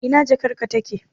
Ina jakarka take?.